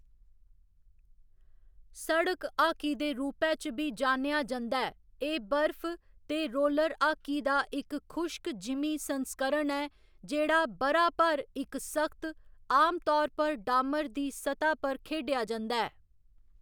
सड़क हाकी दे रूपै च बी जानेआ जंदा ऐ, एह्‌‌ बर्फ ते रोलर हाकी दा इक खुश्क जिमीं संस्करण ऐ जेह्‌‌ड़ा ब'रा भर इक सख्त, आमतौर पर डामर दी स्तह् पर खेढेआ जंदा ऐ।